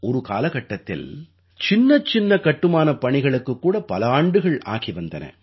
ஒரு காலகட்டத்தில் சின்னச்சின்ன கட்டுமானப் பணிகளுக்குக் கூட பல ஆண்டுகள் ஆகி வந்தன